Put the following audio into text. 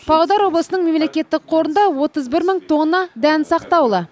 павлодар облысының мемлекеттік қорында отыз бір мың тонна дән сақтаулы